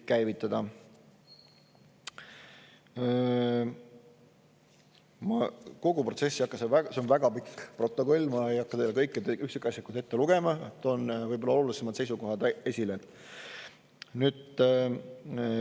Ma kogu istungit ei hakka, see on väga pikk protokoll, ma ei hakka teile seda üksikasjalikult ette lugema, toon võib-olla olulisemad seisukohad esile.